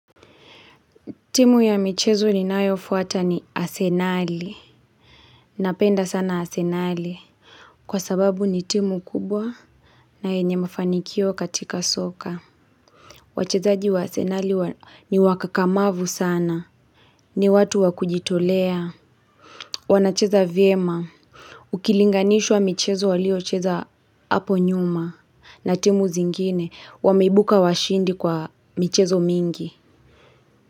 Timu ya michezo ni nayofuata ni asenali. Napenda sana asenali. Kwa sababu ni timu kubwa. Na yenye mafanikio katika soka. Wachezaji wa asenali ni wakakamavu sana. Ni watu wakujitolea. Wanacheza vyema. Ukilinganishwa michezo waliocheza hapo nyuma. Na timu zingine. Wameibuka washindi kwa michezo mingi.